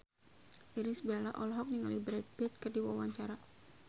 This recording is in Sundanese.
Irish Bella olohok ningali Brad Pitt keur diwawancara